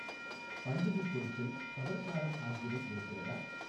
பண்டிகைப் பொருட்கள், சவர்க்காரம் ஆகியவை இருக்கிறதா